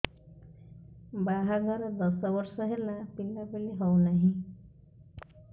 ବାହାଘର ଦଶ ବର୍ଷ ହେଲା ପିଲାପିଲି ହଉନାହି